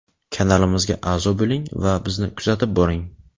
Kanalimizga a’zo bo‘ling va bizni kuzatib boring.